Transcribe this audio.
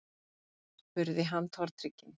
spurði hann tortrygginn.